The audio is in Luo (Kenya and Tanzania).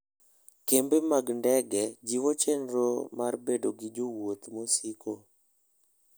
Kembe mag ndege jiwo chenro mar bedo gi jowuoth mosiko.